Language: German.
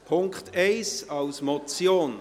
Punkt 1 als Motion.